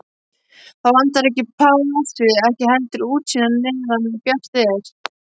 Það vantar ekki plássið og ekki heldur útsýnið-meðan bjart er.